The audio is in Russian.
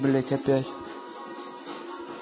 блять опять